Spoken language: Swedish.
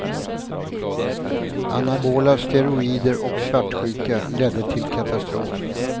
Anabola steroider och svartsjuka ledde till katastrof.